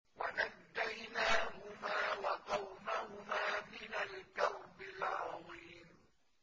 وَنَجَّيْنَاهُمَا وَقَوْمَهُمَا مِنَ الْكَرْبِ الْعَظِيمِ